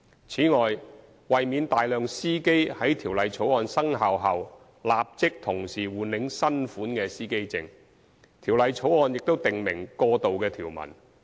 此外，為免大量司機在《條例草案》生效後立即同時換領新款司機證，《條例草案》亦訂明過渡條文。